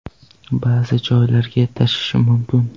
Ba’zi joylarga tushishi mumkin.